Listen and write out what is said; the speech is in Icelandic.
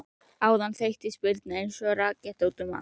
Áðan þeyttist Birna eins og raketta út um allt.